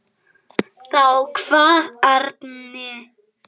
Þá kvað Árni